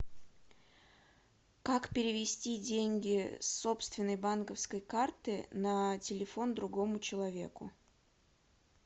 как перевести деньги с собственной банковской карты на телефон другому человеку